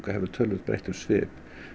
hefur töluvert breytt um svip